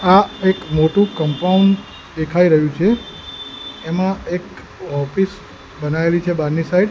આ એક મોટું કમ્પાઉન્ડ દેખાય રહ્યું છે એમાં એક ઑફિસ બનાવેલી છે બારની સાઈડ .